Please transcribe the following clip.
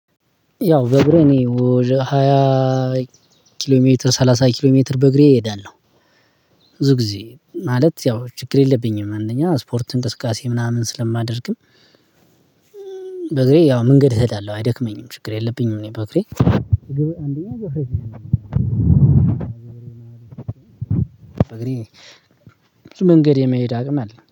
ያው በእግሬ እኔ ሃያ ኪሎ ሜትር ሰላሳ ኪሎ ሜትር በእግሬ እሄዳለሁ። ብዙ ጊዜ ማለት ያው ችግር የለብኝም። አንደኛ ስፖርትን እንቅስቃሴ ምናምን ስለማደርግም በእግሬ ያው መንገድ እኸዳለሁ አይደክመኝም ችግር የለብኝም እኔ በእግሬ በእግሬ ብዙ መንገድ የመሄድ አቅም አለኝ።